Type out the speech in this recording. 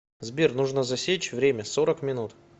сбер нужно засечь время сорок минут